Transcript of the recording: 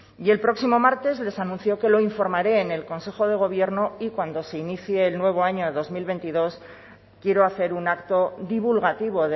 y el próximo martes les anuncio que lo informaré en el consejo de gobierno y cuando se inicie el nuevo año dos mil veintidós quiero hacer un acto divulgativo